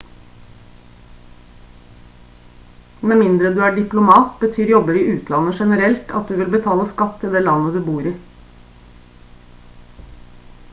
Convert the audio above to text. med mindre du er diplomat betyr jobber i utlandet generelt at du vil betale skatt til det landet du bor i